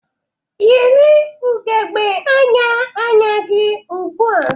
Yiri ugogbe anya anya gị ugbu a!